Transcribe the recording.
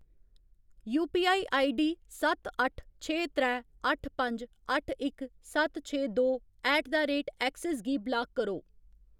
UPI ID सत्त अट्ठ छे त्रै अट्ठ पंज अट्ठ इक सत्त छे दो ऐट द रेट ऐक्सिस गी ब्लाक करो।